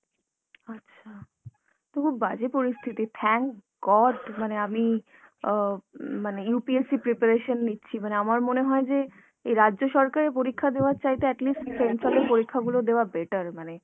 আচ্ছা, তো খুব বাজে পরিস্থিতি, thank god মানে আমি মানে অ মানে UPSC preparation নিচ্ছি। মানে আমার মনে হয় যে এই রাজ্য সরকারের পরীক্ষা দেওয়ার চাইতে at least central এর পরীক্ষাগুলো দেওয়া better মানে